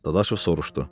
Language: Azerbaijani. Dadaşov soruşdu.